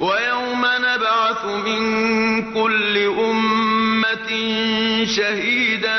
وَيَوْمَ نَبْعَثُ مِن كُلِّ أُمَّةٍ شَهِيدًا